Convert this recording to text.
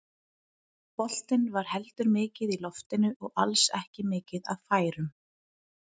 Boltinn var heldur mikið í loftinu og alls ekki mikið af færum.